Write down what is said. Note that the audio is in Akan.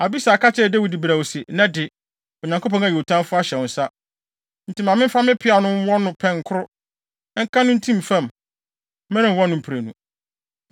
Abisai ka kyerɛɛ Dawid brɛoo se, “Nnɛ de, Onyankopɔn ayi wo tamfo ahyɛ wo nsa. Enti ma memfa me peaw no nwɔ no pɛn koro, nka no ntim fam. Merenwɔ no mprenu.”